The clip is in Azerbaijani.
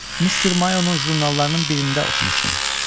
Mister Mayonun jurnallarının birində oxumuşdum.